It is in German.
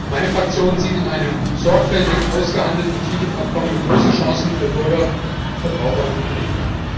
Meine Fraktion sieht in einem sorgfältig ausgehandelten TTIP Abkommen große Chancen für Bürger, Verbraucher und Unternehmen.